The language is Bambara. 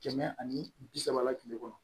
Kɛmɛ ani bi saba la kile kɔnɔ